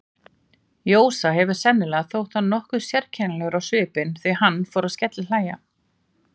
Jósa hefur sennilega þótt hann nokkuð sérkennilegur á svipinn, því hann fór að skellihlæja.